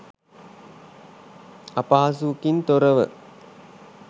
අපහසුවකින් තොරව